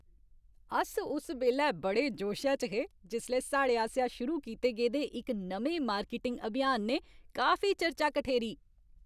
अस उस बेल्लै बड़े जोशै च हे जिसलै साढ़े आसेआ शुरू कीते गेदे इक नमें मार्केटिंग अभियान ने काफी चर्चा कठेरी।